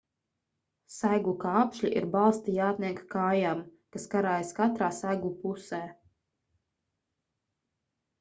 seglu kāpšļi ir balsti jātnieka kājām kas karājas katrā seglu pusē